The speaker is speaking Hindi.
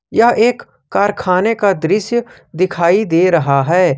यह एक कारखाने का दृश्य दिखाई दे रहा है।